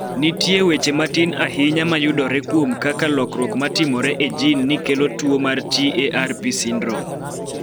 Nitie weche matin ahinya ma yudore kuom kaka lokruok ma timore e jin ni kelo tuo mar TARP syndrome.